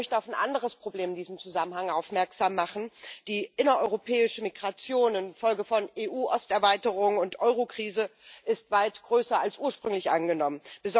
Ich möchte auf ein anderes Problem in diesem Zusammenhang aufmerksam machen Die innereuropäische Migration infolge von EU-Osterweiterung und Eurokrise ist weit größer als ursprünglich angenommen.